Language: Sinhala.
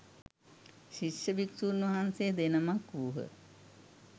ශිෂ්‍ය භික්‍ෂූන් වහන්සේ දෙනමක් වූහ.